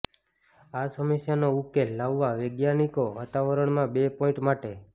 આ સમસ્યાનો ઉકેલ લાવવા વૈજ્ઞાનિકો વાતાવરણમાં બે પોઇન્ટ માટે